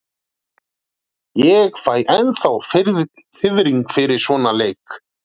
Ég fæ ennþá fiðring fyrir svona leiki.